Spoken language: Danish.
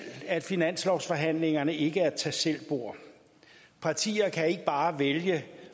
at finanslovsforhandlingerne ikke er et tag selv bord partier kan ikke bare vælge